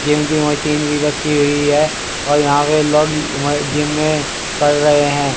Gym की machine भी रखी हुई है और यहां पर लोग जिम में कर रहे है।